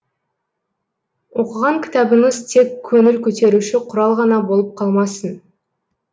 оқыған кітабыңыз тек көңіл көтеруші құрал ғана болып қалмасын